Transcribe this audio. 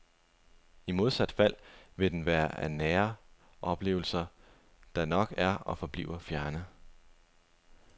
I modsat fald vil den være en af nære oplevelser, der nok er og forbliver fjerne.